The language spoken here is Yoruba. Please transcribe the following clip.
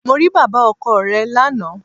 Mo rí bàbá ọkọ re lánàá